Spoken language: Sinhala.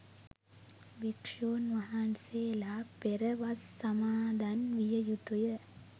භික්ෂූන් වහන්සේලා පෙර වස් සමාදන් විය යුතුය.